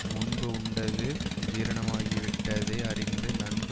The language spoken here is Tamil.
முன்பு உண்டது சீரணமாகி விட்டதை அறிந்து நன்கு